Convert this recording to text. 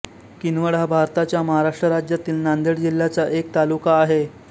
किनवट हा भारताच्या महाराष्ट्र राज्यातील नांदेड जिल्ह्याचा एक तालुका आहे